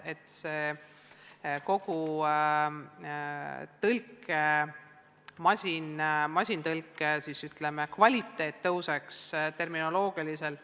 Küllap siis kogu tõlkimise, ka masintõlke kvaliteet tõuseks, terminoloogiliselt.